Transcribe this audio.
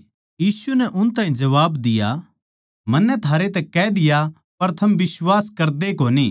यीशु नै उन ताहीं जबाब दिया मन्नै थारैतै कह दिया पर थम बिश्वास करदेए कोनी